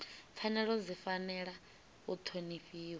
pfanelo dzi fanela u ṱhonifhiwa